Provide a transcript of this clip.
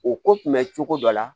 O ko kun bɛ cogo dɔ la